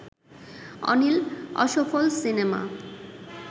অনিল অসফল সিনেমা